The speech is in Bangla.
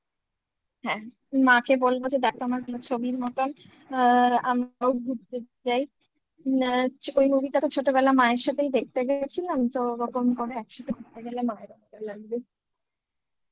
হ্যাঁ মাকে বলবো যে দেখো আমার কোন ছবির মতন অ্যা আমরাও ঘুরতে যাই অ্যা ওই movie টাকে ছোটবেলায় মায়ের সাথেই দেখতে গিয়েছিলাম তো ওরকম করে একসাথে ঘুরতে গেলে ভালো মতো লাগবে